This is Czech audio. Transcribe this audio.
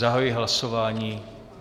Zahajuji hlasování.